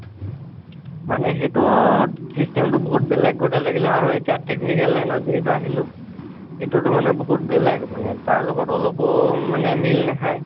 মানে সেইটো ত system টো বহুত বেলেগ লাগিলে আৰু এতিয়া technical line ত যিহেতু আহিলো, এইটো টো মানে বহুত বেলেগ, মানে তাৰ লগত অলপো মানে মিল নাখাই,